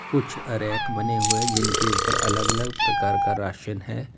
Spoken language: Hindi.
कुछ रैक बने हुए है जिनके ऊपर अलग अलग प्रकार का राशन है।